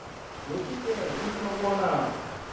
lokhuke kutjho bona